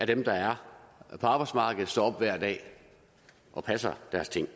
dem der er på arbejdsmarkedet og står op hver dag og passer deres ting